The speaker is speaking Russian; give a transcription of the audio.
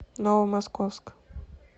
новомосковск